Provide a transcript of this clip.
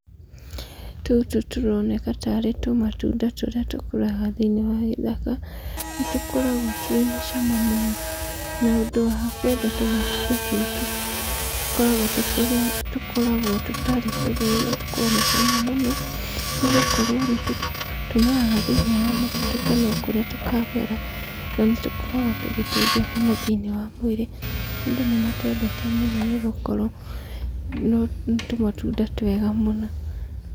Tũtũ tũroneka tarĩ tũmatunda tũrĩa tũkũraga thĩiniĩ wa gĩthaka, nĩ tũkoragwo twĩna cama mũno, na ũndũ wa kwenda tũmatunda tũtũ tũkoragwo tũkoragwo tũtarĩ tũrũrũ na tũkoragwo na cama mũno, ni gũkorwo nĩ tũmeraga thĩiniĩ wa mũtitũ kana kũrĩa tũkamera, na nĩ tũkoragwo tũgĩteithia mũno thĩiniĩ wa mwĩrĩ, andũ nĩ matwendete mũno nĩ gũkorwo nĩ tũmatunda twega mũno.